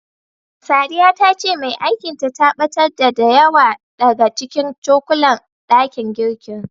Sadiya ta ce mai aikin ta, ta ɓatar da, da yawa daga cikin cokulan ɗakin girkin.